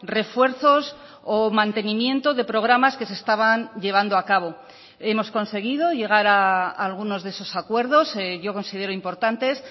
refuerzos o mantenimiento de programas que se estaban llevando a cabo hemos conseguido llegar a algunos de esos acuerdos yo considero importantes